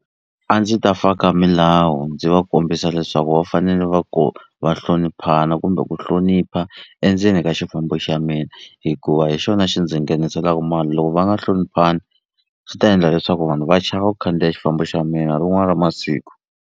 A ndzi ta faka milawu ndzi va kombisa leswaku va fanele va ku va hloniphana kumbe ku hlonipha endzeni ka xifambo xa mina hikuva hi xona xi ndzi ngheniselaku mali loko va nga hloniphani swi ta endla leswaku vanhu va chava ku khandziya xifambo xa mina rin'wani ra masiku.